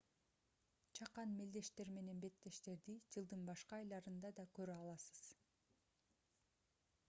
чакан мелдештер менен беттештерди жылдын башка айларында да көрө аласыз